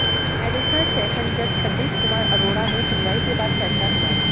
additional session जज सतीश कुमार अरोड़ा ने सुनवाई के बाद फैसला सुनाया